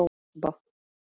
Alba